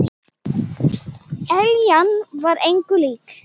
Eljan var engu lík.